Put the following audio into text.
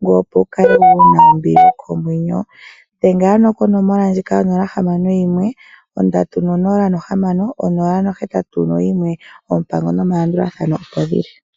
ngoye opo wukale wuna ombili yokomwenyo. Yadhengela 061306081. Oompango nomalandulathano opo dhili.